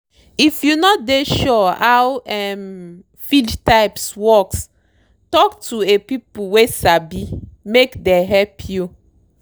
if you no dey sure how um feed types works talk to a people wey sabimake dey help you.